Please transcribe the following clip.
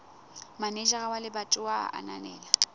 manejara wa lebatowa a ananela